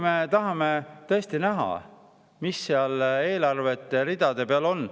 Me tahame tõesti näha, mis seal eelarveridade peal on.